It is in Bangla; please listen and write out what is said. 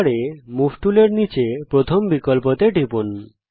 টুলবারে মুভ টুলের নিচে প্রথম বিকল্পতে টিপুন